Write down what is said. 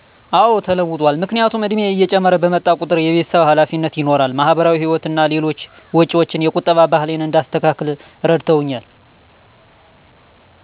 አዎ ተለውጧል፣ ምክንያቱም እድሜየ እየጨመረ በመጣ ቁጠር የቤተሰብ ሀላፊነት ይኖራል፣ ማሀበራዊ ህይወት እና ሌሎች ወጭዎች የቁጠባ ባህሌን እንዳስተካክል እረድተውኛል።